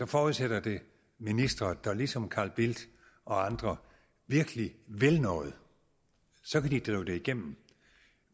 forudsætter det ministre der ligesom carl bildt og andre virkelig vil noget så kan de drive det igennem